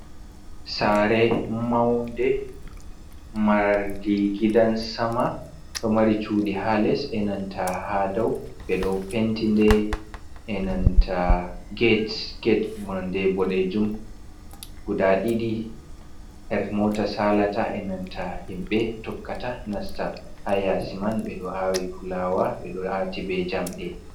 Sa're maude marde gidansama ɗo mari cuɗi ha les, e nanta ha dau beɗo pentide enanta gate- gate nonde bodejum guda ɗiɗi, her mota sa'lata e nanta himɓe tokkata nasta, ha yasi man be ɗo a'wi fulawa ɓeɗo a'ti be jamɗe.